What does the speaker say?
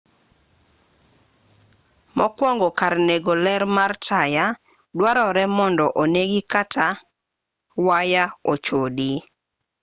mokwongo kar nego ler mar taya dwarore mondo onegi kata waya ochodi